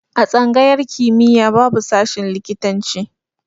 A tsangayar kimiya babu shashin likitan ci